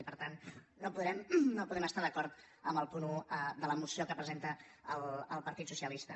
i per tant no podem estar d’acord amb el punt un de la moció que presenta el partit socialista